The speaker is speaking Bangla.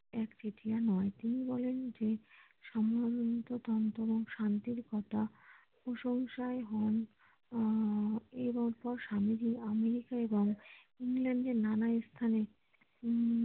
এক তৃতীয়া নয় তিনি বলেন যে সমগ্র তন্ত্র এবং শান্তির কথা প্রশংসায় হন আহ এবং পর স্বামীজী আমেরিকায় যায় ইংল্যান্ড এর নানা স্থানে উম